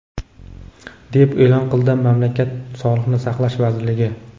deb e’lon qildi mamlakat Sog‘liqni saqlash vazirligi.